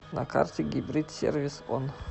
на карте гибрид сервис он